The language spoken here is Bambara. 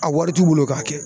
A wari t'u bolo k'a kɛ